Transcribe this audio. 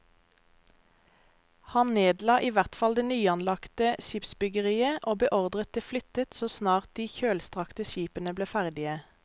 Han nedla i hvert fall det nyanlagte skipsbyggeriet og beordret det flyttet så snart de kjølstrakte skipene ble ferdige.